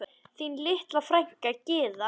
Þín litla frænka Gyða.